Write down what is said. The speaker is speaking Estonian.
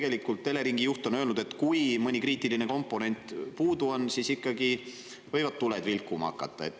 Tegelikult Eleringi juht on öelnud, et kui mõni kriitiline komponent puudu on, siis ikkagi võivad tuled vilkuma hakata.